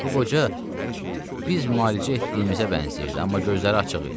Bu qoca biz müalicə etdiyimizə bənzəyirdi, amma gözləri açıq idi.